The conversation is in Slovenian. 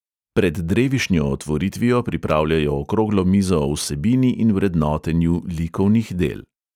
Pred drevišnjo otvoritvijo pripravljajo okroglo mizo o vsebini in vrednotenju likovnih del.